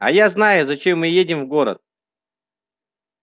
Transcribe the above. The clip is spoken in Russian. а я знаю зачем мы едем в город